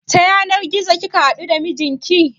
Ta yanar gizo kika haɗu da mijinki?